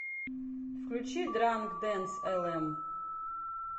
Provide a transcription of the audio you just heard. включи дранк дэнс элэм